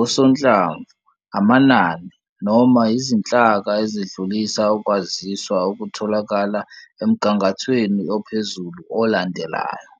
osonhlamvu, amanani, noma izinhlaka ezidlulisa ukwaziswa okutholakala emgangathweni ophezulu olandelayo.